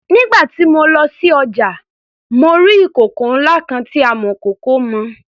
Nígbà tí mo lọ sí ọjà mo rí ìkòkò ńlá kan tí amọ̀kòkò mọ.